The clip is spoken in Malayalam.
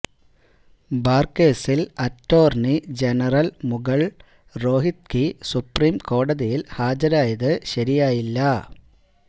ബാർ കേസിൽ attorney general Mukul Rohatgi supreme കോടതിയിൽ ഹാജരായത് ശിയായില്ല